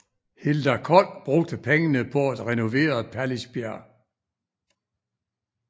Hilda Kold brugte pengene på at renovere Pallisbjerg